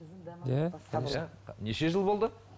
неше жыл болды